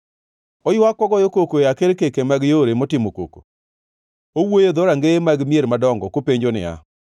oywak kogoyo koko e akerkeke mag yore motimo koko, owuoyo e dhorangeye mag mier madongo kopenjo niya,